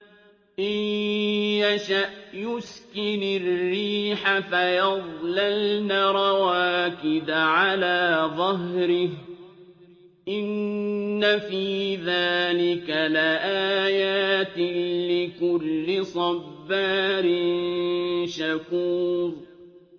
إِن يَشَأْ يُسْكِنِ الرِّيحَ فَيَظْلَلْنَ رَوَاكِدَ عَلَىٰ ظَهْرِهِ ۚ إِنَّ فِي ذَٰلِكَ لَآيَاتٍ لِّكُلِّ صَبَّارٍ شَكُورٍ